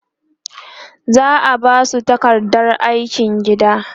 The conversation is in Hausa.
za'a Basu takardar aikin gida